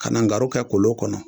Ka na garu kɛ kolon kɔnɔ